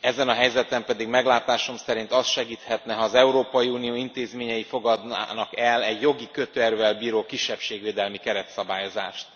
ezen a helyzeten pedig meglátásom szerint az segíthetne, ha az Európai Unió intézményei fogadnának el egy jogi kötőerővel bíró kisebbségvédelmi keretszabályozást.